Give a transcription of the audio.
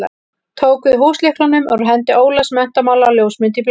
Tók við húslyklunum úr hendi Ólafs menntamála á ljósmynd í blaði.